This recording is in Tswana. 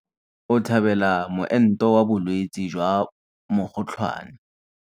O tlhabela moento wa bolwetse jwa mokgotlhwane.